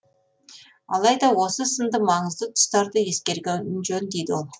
алайда осы сынды маңызды тұстарды ескерген жөн дейді ол